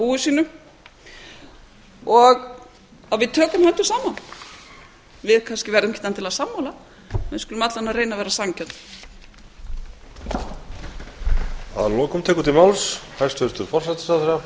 búi sínu og að við tökum höndum saman við verðum kannski ekki endilega sammála en við skulum alla vega reyna að vera sanngjörn